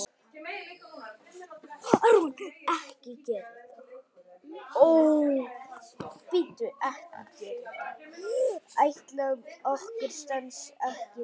Áætlun okkar stenst ekki lengur.